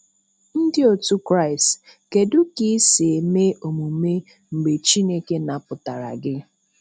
Ndị otu Kristi, kedụ ka i si eme omume mgbe Chineke napụtara gị?